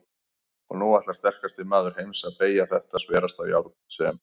Og nú ætlar sterkasti maður heims að BEYGJA ÞETTA SVERASTA JÁRN SEM